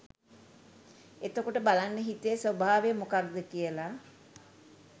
එතකොට බලන්න හිතේ ස්වභාවය මොකක්ද කියල.